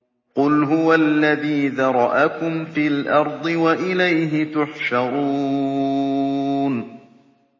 قُلْ هُوَ الَّذِي ذَرَأَكُمْ فِي الْأَرْضِ وَإِلَيْهِ تُحْشَرُونَ